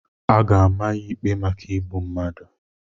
A ga-ama ya ikpe maka igbu mmadụ.